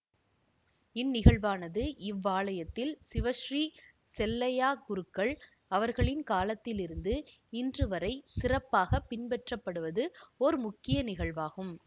இந் நிகழ்வானது இவ்வாலயத்தில் சிவஸ்ரீ செல்லையாக்குருக்கள் அவர்களின் காலத்திலிருந்து இன்று வரை சிறப்பாக பின்பற்றப்படுவது ஓர் முக்கிய நிகழ்வாகும்